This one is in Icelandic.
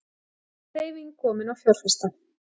Hreyfing komin á fjárfesta